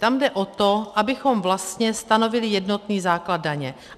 Tam jde o to, abychom vlastně stanovili jednotný základ daně.